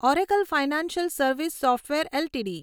Oracle financial service software LTD